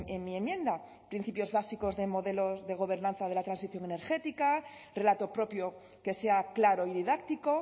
en mi enmienda principios básicos de modelos de gobernanza de la transición energética relato propio que sea claro y didáctico